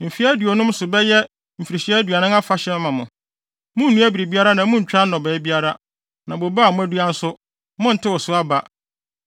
Mfe aduonum so no bɛyɛ mfirihyia aduonum afahyɛ ama mo; munnnua biribiara na munntwa nnɔbae biara, na bobe a moadua nso, monntew so aba.